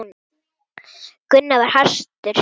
Gunnar var hastur.